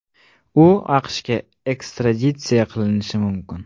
U AQShga ekstraditsiya qilinishi mumkin.